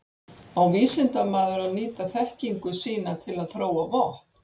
Á vísindamaður að nýta þekkingu sína til að þróa vopn?